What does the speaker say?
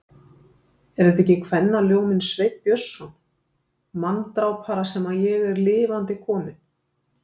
Er þetta ekki kvennaljóminn, Sveinn Björnsson, manndrápara, sem ég er lifandi kominn.